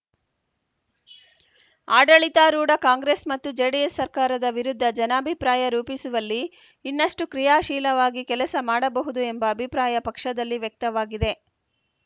ಆಡಳಿತಾರೂಢ ಕಾಂಗ್ರೆಸ್‌ ಮತ್ತು ಜೆಡಿಎಸ್‌ ಸರ್ಕಾರದ ವಿರುದ್ಧ ಜನಾಭಿಪ್ರಾಯ ರೂಪಿಸುವಲ್ಲಿ ಇನ್ನಷ್ಟುಕ್ರಿಯಾಶೀಲವಾಗಿ ಕೆಲಸ ಮಾಡಬಹುದು ಎಂಬ ಅಭಿಪ್ರಾಯ ಪಕ್ಷದಲ್ಲಿ ವ್ಯಕ್ತವಾಗಿದೆ